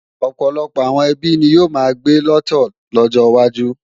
Ọ̀pọ̀lọpọ̀ àwọn ẹbí ni yóò máa gbé lọ́tọ̀ lọ́jọ wájú